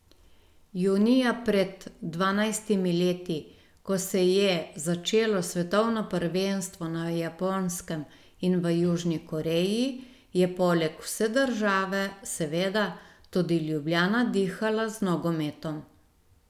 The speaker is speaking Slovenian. Junija pred dvanajstimi leti, ko se je začelo svetovno prvenstvo na Japonskem in v Južni Koreji, je poleg vse države, seveda, tudi Ljubljana dihala z nogometom.